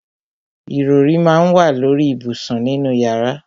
Ìrọrí má ń wà lóri ìbùsùn nínú yàrá.